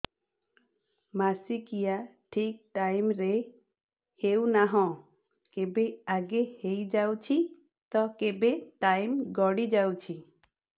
ମାସିକିଆ ଠିକ ଟାଇମ ରେ ହେଉନାହଁ କେବେ ଆଗେ ହେଇଯାଉଛି ତ କେବେ ଟାଇମ ଗଡି ଯାଉଛି